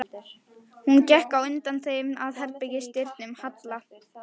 Hún gekk á undan þeim að herbergis- dyrum Halla.